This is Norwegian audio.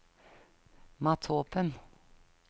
Mathopen